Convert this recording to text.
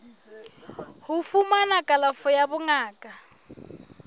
ho fumana kalafo ya bongaka